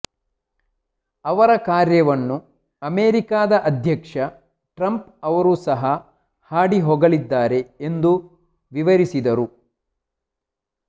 ಅವರ ಕಾರ್ಯವನ್ನು ಅಮೇರಿಕಾದ ಅಧ್ಯಕ್ಷ ಟ್ರಂಪ್ ಅವರು ಸಹ ಹಾಡಿಹೊಗಳಿದ್ದಾರೆ ಎಂದು ವಿವರಿಸಿದರು